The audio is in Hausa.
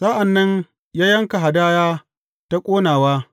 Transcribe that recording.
Sa’an nan ya yanka hadaya ta ƙonawa.